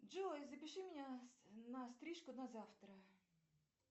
джой запиши меня на стрижку на завтра